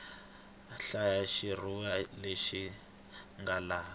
hlaya xitshuriwa lexi nga laha